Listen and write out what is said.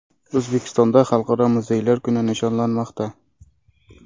O‘zbekistonda Xalqaro muzeylar kuni nishonlanmoqda.